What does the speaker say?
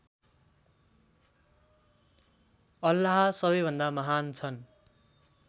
अल्लाह सबैभन्दा महान् छन्